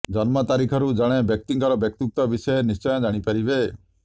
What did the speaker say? ଜନ୍ମ ତାରିଖରୁ ଜଣେ ବ୍ୟକ୍ତିଙ୍କର ବ୍ୟକ୍ତିତ୍ୱ ବିଷୟରେ ନିଶ୍ଚୟ ଜାଣିପାରିବେ